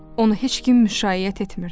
Onu heç kim müşayiət etmirdi.